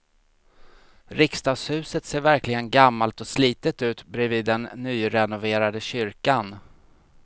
Riksdagshuset ser verkligen gammalt och slitet ut bredvid den nyrenoverade kyrkan.